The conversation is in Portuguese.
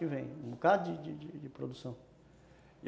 Um bocado de de produção.